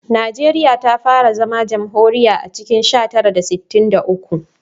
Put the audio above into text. Najeriya ta fara zama jamhuriya a cikin sha tara da sittin da uku